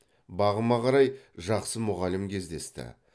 бағыма қарай жақсы мұғалім кездесті